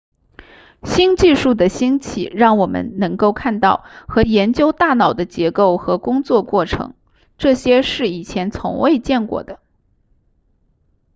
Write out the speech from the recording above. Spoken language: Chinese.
新技术的兴起让我们能够看到和研究大脑的结构和工作过程这些是以前从未见过的